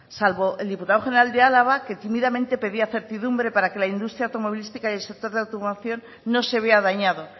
salvo el diputado general de álava que tímidamente pedía certidumbre para que la industria automovilística y el sector de automoción no se vea dañado